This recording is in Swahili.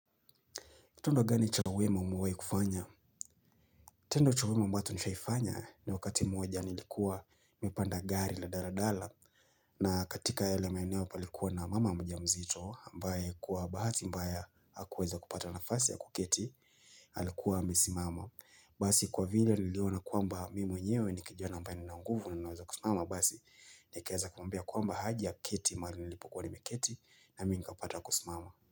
Tendo gani cha uwema umewahi kufanya? Tendo cha wema ambato nishaifanya ni wakati mmoja nilikuwa nimepanda gari la dala dala na katika yale maeneo palikuwa na mama mjamzito ambaye kwa bahati mbaya hakuweza kupata nafasi ya kuketi alikuwa amesimama basi kwa vile niliona kuamba mimi mwenyewe nikijana ambaye nina nguvu na ninaweza kusimama basi nikeaza kumwambia kwamba haje aketi mahali nilipokua nimeketi nami nikapata kusimama.